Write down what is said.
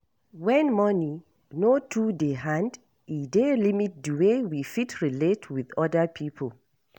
When money no too dey hand e dey limit di way we fit relate with oda people